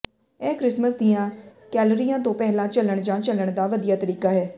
ਇਹ ਕ੍ਰਿਸਮਸ ਦੀਆਂ ਕੈਲੋਰੀਆਂ ਤੋਂ ਪਹਿਲਾਂ ਚੱਲਣ ਜਾਂ ਚੱਲਣ ਦਾ ਵਧੀਆ ਤਰੀਕਾ ਹੈ